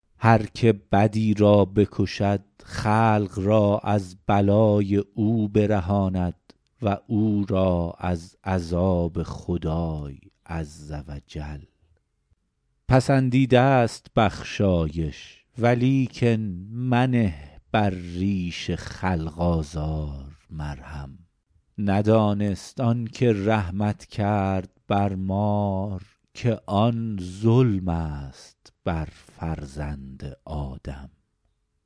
هر که بدی را بکشد خلق را از بلای او برهاند و او را از عذاب خدای عز و جل پسندیده ست بخشایش ولیکن منه بر ریش خلق آزار مرهم ندانست آن که رحمت کرد بر مار که آن ظلم است بر فرزند آدم